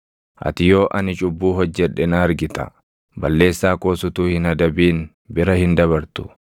Ati yoo ani cubbuu hojjedhe na argita; balleessaa koos utuu hin adabin bira hin dabartu.